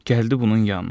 Gəldi bunun yanına.